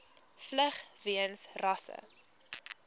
vlug weens rasse